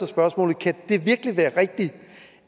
spørgsmålet kan det virkelig være rigtigt